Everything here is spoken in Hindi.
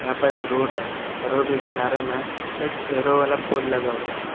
यहां पर एक रोड है रोड के किनारे में एक एरो वाला पोल लगा हुआ है।